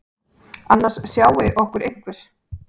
Annars sjái okkur einhver.